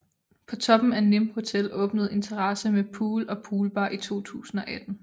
På toppen af Nimb Hotel åbnede en terrasse med pool og poolbar i 2018